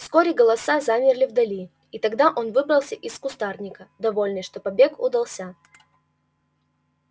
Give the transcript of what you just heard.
вскоре голоса замерли вдали и тогда он выбрался из кустарника довольный что побег удался